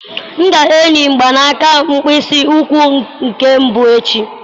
M ga-eyi mgbanaka mkpịsị ụkwụ nke mbụ echi.